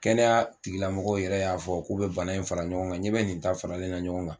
Kɛnɛya tigilamɔgɔ yɛrɛ y'a fɔ k'u bɛ bana in fara ɲɔgɔn kan, n ɲɛ bɛ nin ta faralenna ɲɔgɔn kan